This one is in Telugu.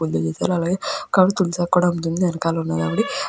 పొద్దున్నే తీశారు. అలాగే తులసి ఆకులు ఉన్నాయండి వెనకాల --